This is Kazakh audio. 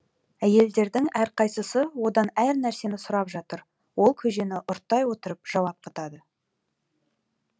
әйелдердің әрқайсысы одан әр нәрсені сұрап жатыр ол көжені ұрттай отырып жауап қатады